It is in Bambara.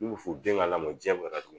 N'u bi fɔ u den ka lamɔ ka taa